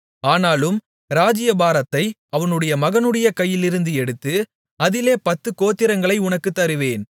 ஆனாலும் ராஜ்ஜியபாரத்தை அவனுடைய மகனுடைய கையிலிருந்து எடுத்து அதிலே பத்துக் கோத்திரங்களை உனக்குத் தருவேன்